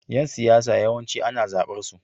Yan siyasa yawanci ana zabar su.